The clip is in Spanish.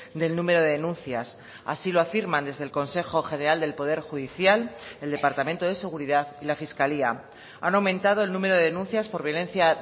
del número de denuncias así lo afirman desde el consejo general del poder judicial el departamento de seguridad y la fiscalía han aumentado el número de denuncias por violencia